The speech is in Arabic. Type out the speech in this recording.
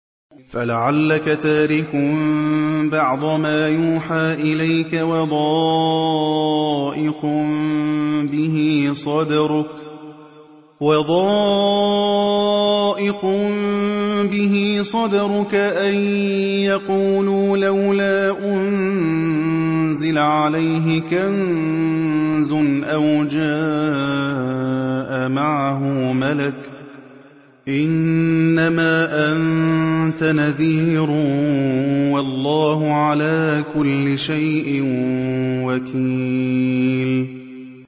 فَلَعَلَّكَ تَارِكٌ بَعْضَ مَا يُوحَىٰ إِلَيْكَ وَضَائِقٌ بِهِ صَدْرُكَ أَن يَقُولُوا لَوْلَا أُنزِلَ عَلَيْهِ كَنزٌ أَوْ جَاءَ مَعَهُ مَلَكٌ ۚ إِنَّمَا أَنتَ نَذِيرٌ ۚ وَاللَّهُ عَلَىٰ كُلِّ شَيْءٍ وَكِيلٌ